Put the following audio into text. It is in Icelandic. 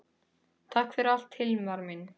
Takk fyrir allt Hilmar minn.